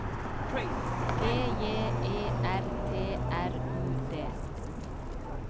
G J E R T R U D